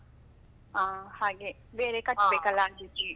ಹಾ ಹಾಗೆ ಬೇರೆ ಅದಕ್ಕೆ?